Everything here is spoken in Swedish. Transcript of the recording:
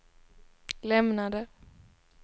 lämnade